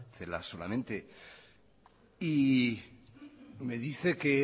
celaá solamente me dice que he